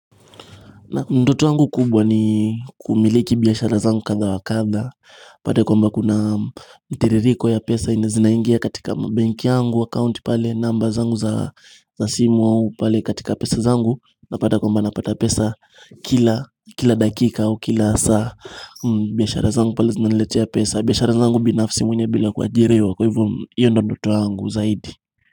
Ndoto yangu kubwa ni kumiliki biashara zangu kadha wa kadha upate kwamba kuna mtiririko ya pesa zenye zinaingia katika mabenki yangu account pale namba zangu za simu au pale katika pesa zangu, napata kwamba napata pesa kila dakika au kila saa biashara zangu pale zinaniletea pesa biashara zangu binafsi mwenyewe bila kuajiriwa kwa hivyo, hiyo ndio ndoto yangu zaidi.